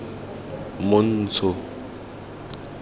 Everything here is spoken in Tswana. montsho